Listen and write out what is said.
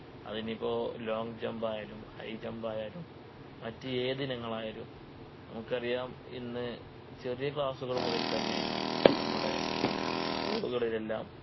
അതിനിപ്പോ Long jump ആയാലും High jump ആയാലും മറ്റ് ഏത് ഇനങ്ങൾ ആയാലും നമുക്കറിയാം ഇന്ന് ചെറിയ Class കൾ മുതൽ തന്നെ നമ്മുടെ School കളിലെല്ലാം